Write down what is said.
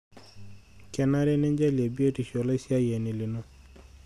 Kenare ninjalie biotisho olaisiyiani lino.